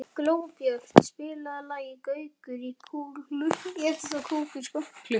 Glóbjört, spilaðu lagið „Gaukur í klukku“.